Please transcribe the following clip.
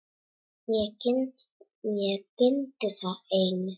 Mig gildir það einu.